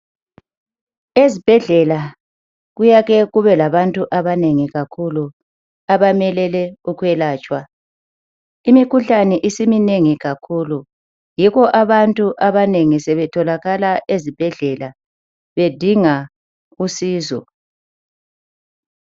Ezibhedlela kuyake kube labantu abanengi kakhulu abamelele ukwelatshwa. Imikhuhlane isimnengi kakhulu yikho abantu abanengi sebetholakala ezibhedlela bedinga usizo.